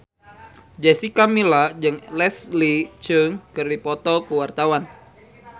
Jessica Milla jeung Leslie Cheung keur dipoto ku wartawan